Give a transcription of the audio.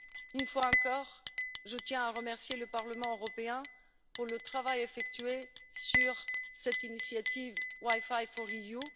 Une fois encore, je tiens à remercier le Parlement européen pour le travail effectué sur cette initiative WiFi4EU.